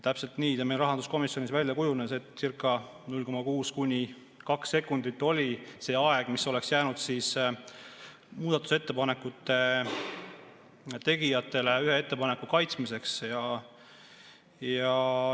Täpselt nii see meil rahanduskomisjonis välja kujunes, et circa 0,6–2 sekundit oli see aeg, mis oleks jäänud muudatusettepanekute tegijatele ühe ettepaneku kaitsmiseks.